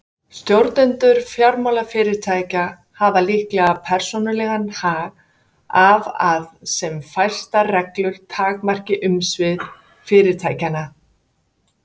Stjórnendur fjármálafyrirtækja hafa líklega persónulegan hag af að sem fæstar reglur takmarki umsvif fyrirtækjanna.